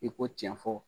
I ko tiɲɛ fɔ